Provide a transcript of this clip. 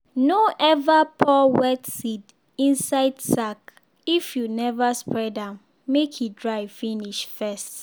no ever pour wet seed inside sack if you never spread am make e dry finish first.